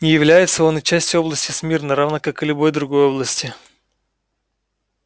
не является он и частью области смирно равно как и любой другой области